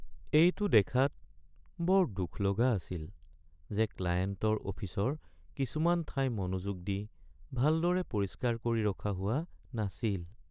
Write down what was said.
এইটো দেখাত বৰ দুখ লগা আছিল যে ক্লায়েণ্টৰ অফিচৰ কিছুমান ঠাই মনোযোগ দি ভালদৰে পৰিষ্কাৰ কৰি ৰখা হোৱা নাছিল।